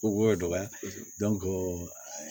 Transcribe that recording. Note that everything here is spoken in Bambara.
Ko ye dɔgɔya